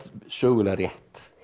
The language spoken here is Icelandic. sögulega rétt